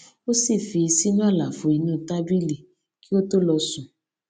ó sì fi í sínú àlàfo inú tábìlì kí ó tó lọ sùn